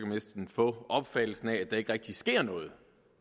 næsten få opfattelsen af at der ikke rigtig sker noget